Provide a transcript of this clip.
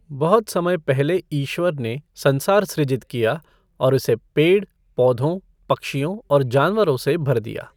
बहुत समय पहले ईश्वर ने संसार सृजित किया और इसे पेड़ पौधों पक्षियों और जानवरों से भर दिया।